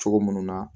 Cogo munnu na